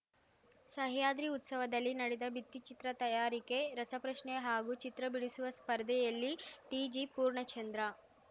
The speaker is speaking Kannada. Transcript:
ಸಹ್ಯಾದ್ರಿ ಉತ್ಸವದಲ್ಲಿ ನಡೆದ ಭಿತ್ತಿಚಿತ್ರ ತಯಾರಿಕೆ ರಸಪ್ರಶ್ನೆ ಹಾಗೂ ಚಿತ್ರ ಬಿಡಿಸುವ ಸ್ಪರ್ಧೆಯಲ್ಲಿ ಟಿಜಿ ಪೂರ್ಣಚಂದ್ರ